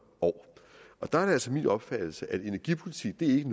år og der er det altså min opfattelse at energipolitik ikke